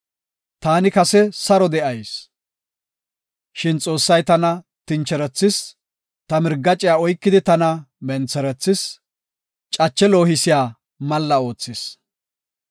Taani kase saro de7as; shin Xoossay tana tincherethis; ta mirgaciya oykidi tana mentherethis; cache loohisiya malla oothis.